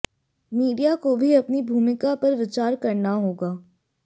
media को भी अपनी भूमिका पर विचार करना होगा